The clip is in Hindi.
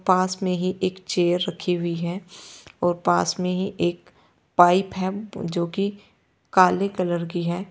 पास में ही एक चेयर रखी हुई है और पास में ही एक पाइप है जो कि काले कलर की है।